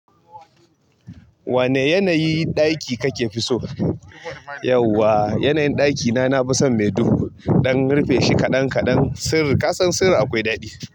Wane yanayin ɗaki kake so? Yauwa, yanayin ɗaki na, na fi son mai duhu, ɗan rufe shi kaɗan kaɗan. Sirri, ka san sirri akwai daɗi.